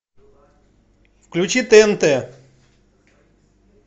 включи тнт